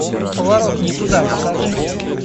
поворот не туда покажи